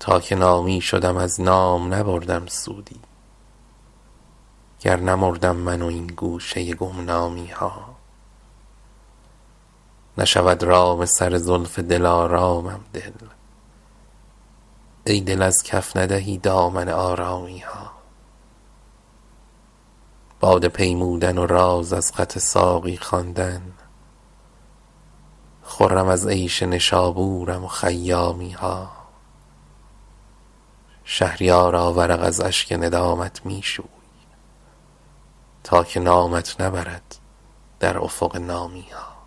تا که نامی شدم از نام نبردم سودی گر نمردم من و این گوشه گمنامی ها نشود رام سر زلف دل آرامم دل ای دل از کف ندهی دامن آرامی ها باده پیمودن و راز از خط ساقی خواندن خرم از عیش نشابورم و خیامی ها شهریارا ورق از اشک ندامت میشوی تا که نامت نبرد در افق نامی ها